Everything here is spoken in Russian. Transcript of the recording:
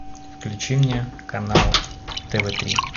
включи мне канал тв три